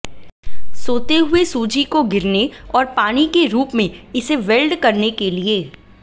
सोते हुए सूजी को गिरने और पानी के रूप में इसे वेल्ड करने के लिए